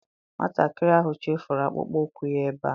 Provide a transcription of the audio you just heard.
Nwatakịrị ahụ chefuru akpụkpọ ụkwụ ya ebe a.